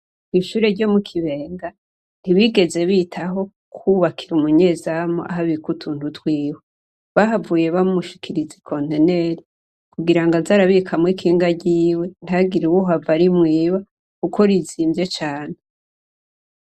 Kw'ishure ryo mu Kibenga ntibigeze bitaho kwubakira umunyezamu aho abika utuntu twiwe. Bahavuye bamushikiriza ikonteneri kugira aze arabikamwo ikinga ryiwe ntihagire uhava arimwiba kuko rizimvye cane.